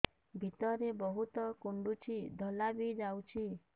ଭିତରେ ବହୁତ କୁଣ୍ଡୁଚି ଧଳା ବି ଯାଉଛି